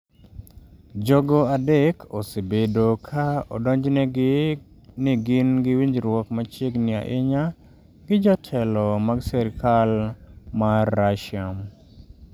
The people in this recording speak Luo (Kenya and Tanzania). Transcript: Jogo adek osebedo ka odonjnegi ni gin gi winjruok machiegni ahinya gi jotelo mag sirkal mar Russia.